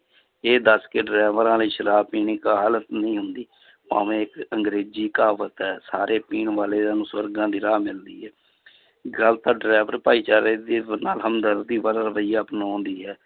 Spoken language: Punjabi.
ਇਹ ਦੱਸ ਕੇ ਡਰਾਈਵਰਾਂ ਲਈ ਸ਼ਰਾਬ ਪੀਣੀ ਕਾਹਲ ਨਹੀਂ ਹੁੰਦੀ ਭਾਵੇਂ ਇੱਕ ਅੰਗਰੇਜ਼ੀ ਕਹਾਵਤ ਹੈ ਸਾਰੇ ਪੀਣ ਵਾਲਿਆਂ ਨੂੰ ਸਵਰਗਾਂ ਦੀ ਰਾਹ ਮਿਲਦੀ ਹੈ ਗੱਲ ਤਾਂ driver ਭਾਈਚਾਰੇ ਦੀ ਹਮਦਰਦੀ ਵਾਲਾ ਰਵਈਆ ਅਪਨਾਉਣ ਦੀ ਹੈ,